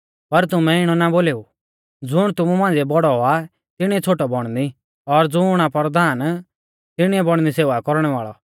पर तुमै इणौ ना बोलेऊ ज़ुण तुमु मांझ़िऐ बौड़ौ आ तिणीऐ छ़ोटौ बौणनी और ज़ुण आ परधान तिणीऐ बौणनी सेवा कौरणै वाल़ौ